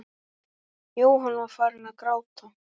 Jóhann var farinn að gráta.